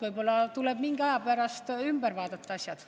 Võib-olla tuleb mingi aja pärast asjad üle vaadata.